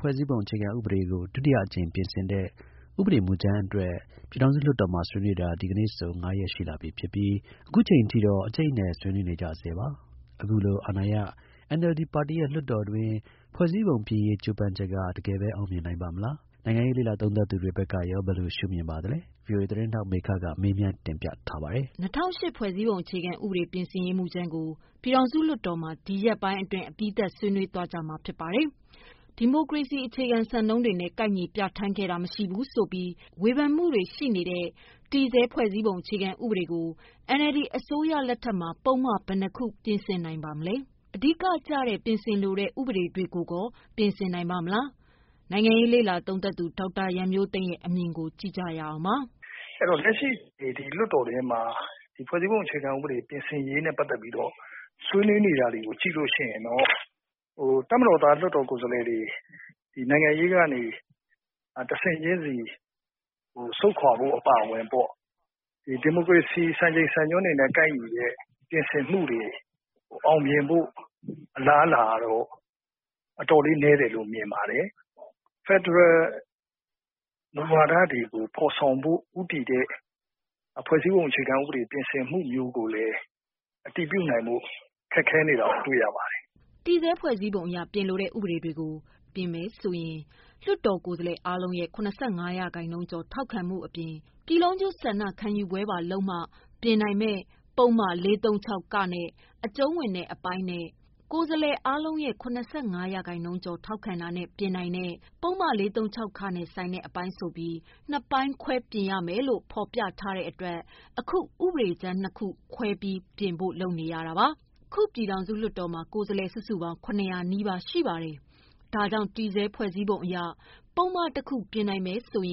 ဖွဲ့စည်းပုံ အခြေခံဥပဒေကို ဒုတိယအကြိမ် ပြင်ဆင်တဲ့ ဥပဒေမူကြမ်းအတွက် ပြည်ထောင်စု လွှတ်တော်မှာ ဆွေးနွေးတာ ဒီကနေ့ဆို ၅ရက် ရှိလာပြီဖြစ်ပြီး အခုချိန် အထိတော့ အကျိတ်အနယ် ဆွေးနွေး နေကြဆဲပါ။ အခုလို အာဏာရ NLD ပါတီရဲ့ လွှတ်တော်တွင်း ဖွဲ့စည်းပုံပြင်ရေး ကြိုးပမ်း ချက်က တကယ်ဘဲ အောင်မြင်နိုင်ပါ့မလား။ နိုင်ငံရေးလေ့လာသုံးသပ်သူတွေ ဘက်က ရော ဘယ်လိုရှု မြင်ပါသလဲ။ ဗွီအိုအေ သတင်း ထောက် မေခက မေးမြန်းတင်ပြထားပါတယ်။ ၂၀၀၈ ဖွဲ့စည်းပုံအခြေခံဥပဒေပြင်ဆင်ရေး မူကြမ်းကို ပြည်ထောင်စုလွှတ်တော်မှာ ဒီ ရက်ပိုင်း အတွင်း အပြီးသတ် ဆွေးနွေးသွား ကြမှာဖြစ်ပါတယ်။ ဒီမိုကရေစီ အခြေခံစံနှုန်းတွေနဲ့ ကိုက်ညီပြဌာန်းခဲ့တာ မရှိဘူးဆိုပြီး ဝေဖန်မှု တွေရှိတဲ့တည်ဆဲ ဖွဲ့စည်းပုံအခြေခံ ဥပဒေ ကို NLD အစိုးရလက်ထက်မှာ ပုဒ်မ ဘယ်နှစ်ခု ပြင်ဆင်နိုင် ပါမလဲ၊ အဓိကကျတဲ့ ပြင်ဆင်လိုတဲ့ ဥပဒေတွေကိုကော ပြင်ဆင် နိုင်ပါ့မလား။ နိုင်ငံရေးလေ့လာသုံးသပ်သူ ဒေါက်တာရန်မျိုးသိမ်းက ရဲ့ အမြင်ကို ကြည့်ရအောင်ပါ။ “လက်ရှိ လွှတ်တော်တွင်းမှာ ၂၀၀၈ ဖွဲ့စည်းပုံအခြေခံဥပဒေပြင်ဆင်ရေး နဲ့ ပတ်သက်လို့ ဆွေးနွေးနေတာကို ကြည့်ရင် တပ်မတော်သား လွှတ်တော်ကိုယ်စားလှယ်တွေ နိုင်ငံရေးကနေ တဆင့်ချင်းစီ ဆုတ်ခွာဖို့ အပါအဝင် ဒီမိုကရေစီစံချိန် စံညွှန်းတွေနဲ့ ကိုက်တဲ့ ပြင်ဆင်မှုတွေ အောင်မြင်ဖို့ အလားအလာနည်းတယ်လို့မြင်ပါတယ်။ ဖက်ဒရယ် မူဝါဒတွေကို ဖော်ဆောင်ဖို့ ဦးတည်တဲ့ ဖွဲ့စည်းပုံအခြေခံဥပဒေပြင်ဆင်မှုမျိုးကိုလည်း အတည်ပြုဖို့ ခက်ခဲနေတာ တွေ့ရပါတယ်” တည်ဆဲ ဖွဲ့စည်းပုံအရ ပြင်ဆင်လိုတဲ့ ဥပဒေတွေကို ပြင်ဖို့ဆိုရင် လွှတ်တော် ကိုယ်စားလှယ် အားလုံးရဲ့ ၇၅ ရာခိုင်နှုန်းကျော် ထောက်ခံမှု အပြင် ပြည်လုံးကျွတ် ဆန္ဒခံယူပွဲပါ လုပ်မှ ပြင်နိုင်မယ့် ပုဒ်မ ၄၃၆ နဲ့ အကျုံးဝင်တဲ့ အပိုင်းနဲ့ ကိုယ် စားလှယ် အားလုံးရဲ့ ၇၅ ရာခိုင်နှုန်းကျော် ထောက်ခံတာနဲ့ ပြင်နိုင်တဲ့ ပုဒ်မ ၄၃၆ နဲ့ ဆိုင်တဲ့အပိုင်း ဆို ပြီး နှစ်ပိုင်းခွဲပြင်ရမယ် လို့ ဖော်ပြထားတဲ့ အတွက် အခု ဥပဒေကြမ်း ၂ခုခွဲ ပြီး ပြင်ဖို့လုပ် နေတာပါ။ ခု ပြည်ထောင်စု လွှတ်တော်မှာ ကိုယ်စားလှယ် စုစုပေါင်းက ၇၀၀ နီးပါး ရှိပါတယ်။ ဒါကြောင့် တည်ဆဲ ဖွဲ့စည်းပုံအရ ပုဒ်မတခု ပြင်နိုင်ဖို့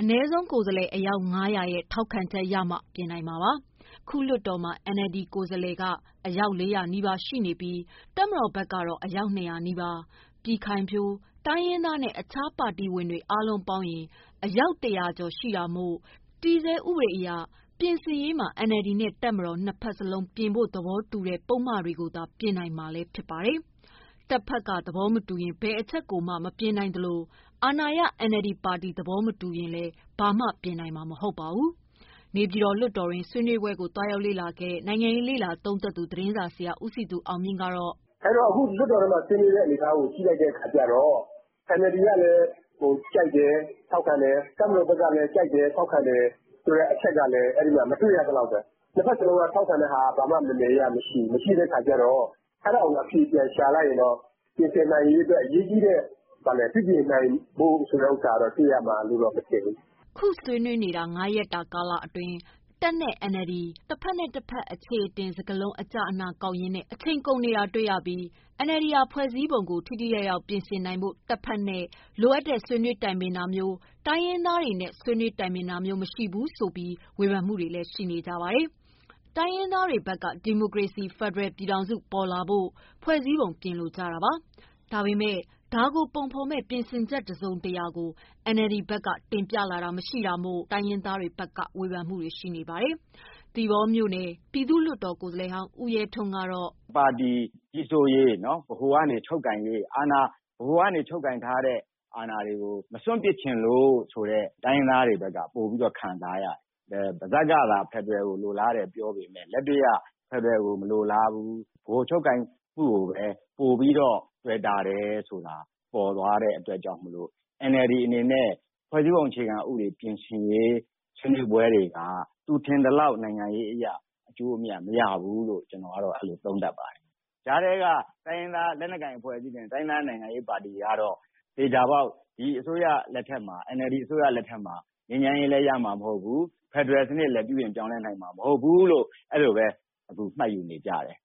အနည်းဆုံး ကိုယ်စားလှယ် အယောက် ၅၀၀ ရဲ့ ထောက်ခံမှုရမှ ပြင်နိုင်မှာပါ။ ခုလွှတ်တော်မှာ NLD ကိုယ်စားလှယ်က အယောက် ၄၀၀ နီးပါး ရှိနေပြီး တပ်ဘက်က အယောက် ၂၀၀ နီးပါး၊ပြည်ခိုင်ဖြိုး၊ တိုင်းရင်းသားနဲ့ တခြား ပါတီဝင်တွေ အား လုံး ပေါင်းက အယောက် ၁၀၀ ကျော်ရှိတာမို့ တည်ဆဲ ဥပဒေအရ ပြင်ဆင်ရေးမှာ NLD နဲ့ တပ်မတော် နှစ်ဖက်စလုံး ပြင်ဖို့ သဘောတူတဲ့ ပုဒ်မတွေ ကိုသာ ပြင်ဆင်နိုင်မှာ လည်း ဖြစ်ပါတယ်။ တပ်ဘက်က သဘောမတူရင် ဘယ်အချက် ကိုမှ မပြင်နိုင် သလို အာဏာရ NLD ပါတီ ဘက်က သဘောမတူရင် လည်း ဘာမှ ပြင်နိုင်မှာ မဟုတ်ပါဘူး။ နေပြည်တော် လွှတ်တော်တွင်း ဆွေံးနွေးပွဲကို သွားရောက်လေ့လာခဲ့တဲ့နိုင်ငံရေးလေ့လာသုံးသပ်သူ သတင်းစာဆရာ ဦးစည်သူအောင်မြင့် ကတော့ “ အဲဒီတော့ လွှတ်တော်ထဲမှာ ဖြစ်နေတဲ့ အနေအထားကို ကြည့်လိုက်တော့ NLD ဘက်က လည်း ကြိုက်တယ်၊ ထောက်ခံတယ်၊ တပ်ဘက်ကလည်း ကြိုက်တယ်၊ ထောက်ခံတယ် ဆိုတဲ့ အချက်ကတော့ မတွေ့ရသလောက်ပဲ။ ၂ ဘက်စလုံးက ထောက်ခံတာက ဘာမှ မယ်မယ်ရရမရှိဘူး။ အဲဒါကို အဖြေ ပြန်ရှာလိုက်ရင်တော့ ပြင်ဆင်နိုင်ရေးအတွက် အရေးကြီးတဲ့ ပြုပြင်နိုင်ဖို့ဆိုတာကိုတော့ တွေ့ရမယ်လို့ မထင်ပါဘူး။” ခုဆွေးနွေးတဲ့ ၅ရက် တာ ကာလ အတွင်း တပ်နဲ့ NLD တဘက်နဲ့ တဘက် အခြေအတင် စကားလုံး အကျ အန ကောက်ရင်းနဲ့ အချိန်ကုန် နေတာ တွေ့ရပြီး NLD ဟာ ဖွဲ့စည်းပုံကို ထိထိ ရောက် ရောက် ပြင်ဆင်နိုင်ဖို့ တပ်ဘက်နဲ့ လိုအပ်တဲ့ ဆွေးနွေးတိုင်ပင်တာမျိုး၊ တိုင်းရင်းသားတွေနဲ့ ဆွေးနွေး တိုင်ပင်တာ မျိုး မရှိဘူးဆိုပြီး ဝေဖန်မှုတွေလည်း ရှိနေပါတယ်။ တိုင်းရင်းသားတွေဘက်က ဒီမိုကရေစီ ဖယ်ဒရယ် ပြည်ထောင်စု ပေါ်လာဖို့ ဖွဲ့စည်းပုံပြင်လိုကြ တာပါ။ ဒါပေမယ့် ဒါကိုပုံဖော်မယ့် ပြင်ဆင်ချက်တစုံတရာကို NLD ဘက်ကတင်လာတာ မရှိတာမို့ တိုင်း ရင်း သားတွေဘက်က ဝေဖန်မှုတာတွေရှိပါတယ်။ သီပေါမြို့နယ် ပြည်သူ့လွှတ်တော် ကိုယ်စားလှယ်ဟောင်း ဦးရဲထွန်းကတော့ “ တပါတီ ကြီးစိုးရေး၊ ဗဟိုက နေချုပ်ကိုင်ရေး ၊ ဗဟိုက နေချုပ်ကိုင်ထားတဲ့ အာဏာ ဆိုတာကို မစွန့်ပစ်ချင်လို့ ဆိုတာ တိုင်းရင်းသား တွေဘက်က ပိုပြီးတော့ ခံစားရတယ် ။ ပါး စပ်ကသာ ဖက်ဒရယ် ကို ပြောပေမယ့်လက် တွေ့မှာ ဖက်ဒရယ်မှာ မလိုလားဘူးလို့ ဗဟိုချုပ်ကိုင်မှုကိုပဲ ပိုပြီးတော့ တွယ်တာတယ်ဆိုတာ ပေါ်သွားတဲ့အတွက် NLD အနေနဲ့ ဖွဲ့စည်းပုံအခြေခံဥပဒေ ပြင်ဆင်ရေး ဆွေးနွေးပွဲတွေက ထင်သလောက် နိုင်ငံရေးအရ အကျိုးအမြတ်မရဘူးလို့ ကျနော်ကတော့ အဲလို သုံးသပ်တယ်။ ကြားထဲက တိုင်းရင်းသားလက်နက်ကိုင်အဖွဲ့အစည်းတွေနဲ့ တိုင်းရင်းသား ပါတီတွေကတော့ သေချာပေါက် ဒီ NLD အစိုးရလက်ထက်မှာ ငြိမ်းချမ်းရေးလည်း ရမှာမဟုတ်ဘူး၊ ဖက်ဒရယ် စနစ်လည်း ပြုပြင်ပြောင်းလဲနိုင်မှာ မဟုတ်ဘူးလို့ အဲလိုပဲ မှတ်ယူနေကြတယ်။”